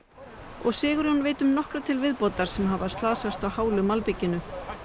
og Sigurjón veit um nokkra til viðbótar sem hafa slasast á hálu malbikinu